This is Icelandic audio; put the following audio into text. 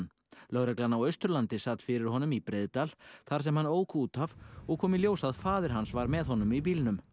lögreglan á Austurlandi sat fyrir honum í Breiðdal þar sem hann ók út af og kom í ljós að faðir hans var með honum í bílnum